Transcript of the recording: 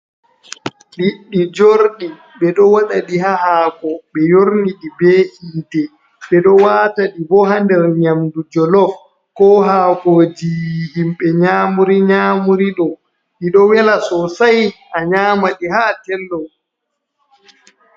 Liɗɗi jorɗi ɓe ɗo waɗaɗi haa haako, ɓe yorniɗi be yiite. Ɓe ɗo waata ɗi bo haa nder nyamdu jolof ko haakoojii himɓe nyamuri nyamuri ɗo. Ɗi ɗo wela sosay a nyaama ɗi haa a tello.